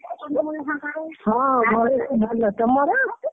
ହଁ ଘରେ ସବୁ ଭଲ ତମର?